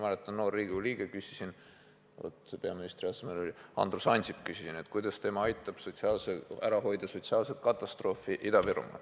Mina, noor Riigikogu liige, küsisin tollaselt peaministrilt Andrus Ansipilt, kuidas tema aitab ära hoida sotsiaalset katastroofi Ida-Virumaal.